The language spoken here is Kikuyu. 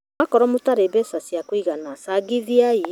Mwakorwo mũtarĩ mbeca cia kũigana cangithiai